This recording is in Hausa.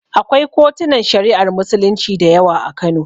Akwai kotunan Shari'ar Musulunci da yawa a Kano.